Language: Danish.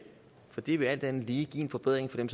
for det vil alt andet lige give en forbedring